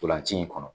Ntolan ci in kɔnɔ